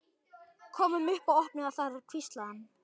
Komum upp og opnum það þar hvíslaði hann.